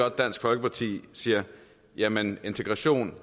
at dansk folkeparti siger jamen integrationen